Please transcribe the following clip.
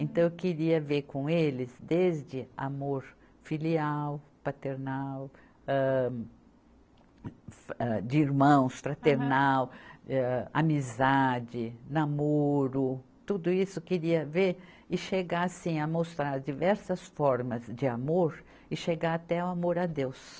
Então, eu queria ver com eles desde amor filial, paternal, âh, fa, de irmãos, fraternal, amizade, namoro, tudo isso eu queria ver e chegar assim a mostrar diversas formas de amor e chegar até o amor a Deus.